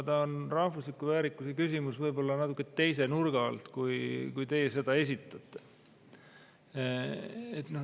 See on rahvusliku väärikuse küsimus võib-olla natuke teise nurga alt, kui teie seda esitate.